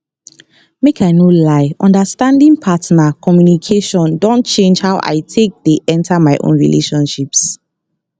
make i no lie understanding partner communication don change how i take dey enter my own relationships